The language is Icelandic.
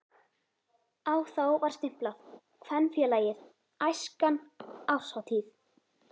Á þá var stimplað: KVENFÉLAGIÐ ÆSKAN ÁRSHÁTÍÐ.